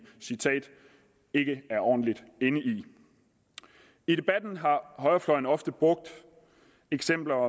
citat ikke er ordentlig inde i i debatten har højrefløjen ofte brugt eksempler